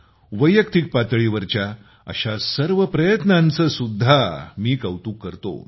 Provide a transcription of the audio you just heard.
वैयक्तिक पातळीवरच्या अशा सर्व प्रयत्नांचे सुद्धा मी कौतुक करतो